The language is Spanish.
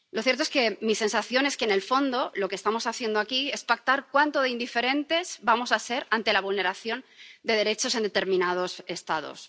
Lo cierto es que mi sensación es que, en el fondo, lo que estamos haciendo aquí es pactar cuánto de indiferentes vamos a ser ante la vulneración de derechos en determinados Estados.